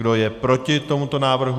Kdo je proti tomuto návrhu?